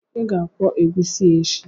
Ị ga-akwọ egusi a echi!